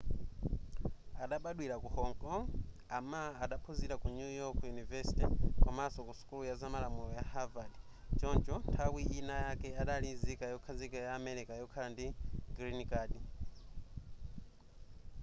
adabadwira ku hong kong a ma adaphunzira ku new york university komanso ku sukulu ya zamalamulo ya harvard choncho nthawi ina yake adali nzika yokhazikika ya america yokhala ndi green card